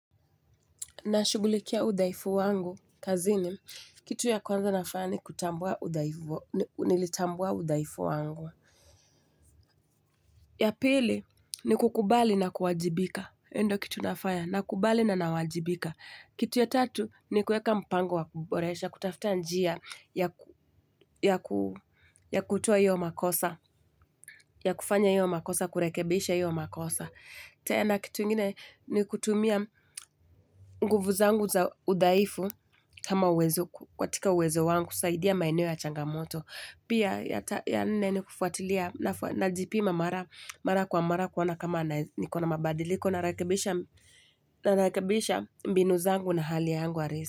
Na shugulikia udhaifu wangu, kazini, kitu ya kwanza nafaya ni kutambua udhaifu wangu. Ya pili, ni kukubali na kuwajibika. Hio ndio kitu nafanya, nakubali na nawajibika. Kitu ya tatu, ni kuweka mpango wa kuboresha, kutafuta njia, ya kutoa hio makosa, ya kufanya hio makosa, kurekebisha hio makosa. Tena kitu ingine ni kutumia nguvu zangu za udhaifu kama uwezo katika uwezo wangu kusaidia maeneo ya changamoto. Pia ya nne ni kufuatilia najipima mara kwa mara kuona kama nikona mabadiliko na rekebisha mbinu zangu na hali yangu halisi.